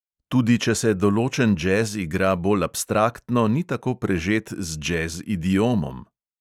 Tudi če se določen džez igra bolj abstraktno, ni tako prežet z džez idiomom.